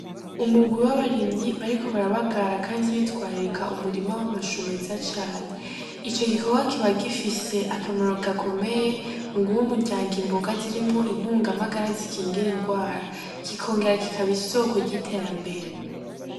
Umurwi w'abarimyi bariko barabagara kandi bitwararika umurima w'amashu meza cane, ico gikorwa kiba gifise akamaro gakomeye muguh'umuryango imboga zirimwo intung' amagara zikingir 'ingwara kingora kikab'isoko ry'iterambere.